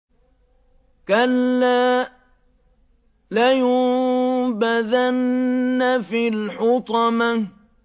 كَلَّا ۖ لَيُنبَذَنَّ فِي الْحُطَمَةِ